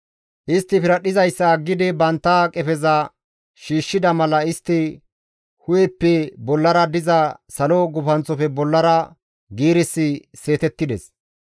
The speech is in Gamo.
Istti piradhdhizayssa aggidi bantta qefeza shiishshida mala istta hu7eppe bollara diza salo gufanththofe bollara giirissi seetettides.